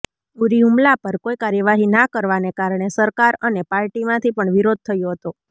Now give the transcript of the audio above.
ઉરી હુમલા પર કોઈ કાર્યવાહી ના કરવાને કારણે સરકાર અને પાર્ટીમાંથી પણ વિરોધ થયો હતો